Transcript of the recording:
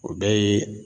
O bɛɛ ye